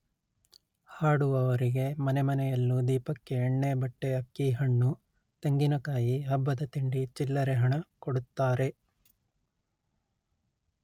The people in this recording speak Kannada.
ಹಾಡುವವರಿಗೆ ಮನೆಮನೆಯಲ್ಲೂ ದೀಪಕ್ಕೆ ಎಣ್ಣೆ ಬಟ್ಟೆ ಅಕ್ಕಿ ಹಣ್ಣು ತೆಂಗಿನಕಾಯಿ ಹಬ್ಬದ ತಿಂಡಿ ಚಿಲ್ಲರೆ ಹಣ ಕೊಡುತ್ತಾರೆ